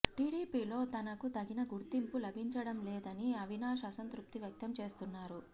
టిడిపిలో తనకు తగిన గుర్తింపు లభించడంలేదని అవినాష్ అసంతృప్తి వ్యక్తం చేస్తున్నారు